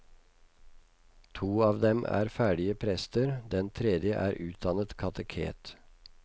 To av dem er ferdige prester, den tredje er utdannet kateket.